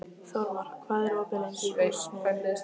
Þórmar, hvað er opið lengi í Húsasmiðjunni?